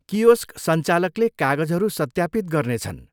Kiosk संचालकले कागजहरू सत्यापित गर्नेछन्।